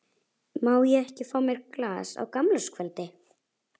Má ég ekki fá mér glas á gamlárskvöldi?